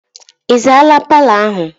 Ị zaala paalọ ahụ?